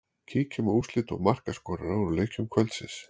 Kíkjum á úrslit og markaskorara úr leikjum kvöldsins.